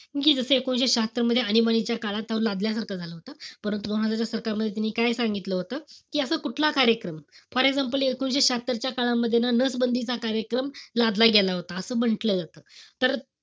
कि जस एकोणीशे शहात्तर मध्ये, आणीबाणीच्या काळात तो लादल्यासारखं झालं होतं. परंतु सरकारला त्यांनी काय सांगितलं होतं, कि असं कुठलाही कार्यक्रम for example एकोणीशे शहात्तरच्या काळामध्ये ना नसबंदीचा कार्यक्रम लादला गेला होता. असं म्हंटल जात. तर,